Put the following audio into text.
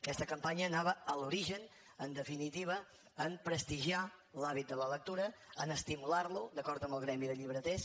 aquesta campanya anava a l’origen en definitiva a prestigiar l’hàbit de la lectura a estimular lo d’acord amb el gremi de llibreters